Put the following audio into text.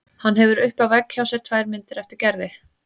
Hann hefur uppi á vegg hjá sér tvær myndir eftir Gerði.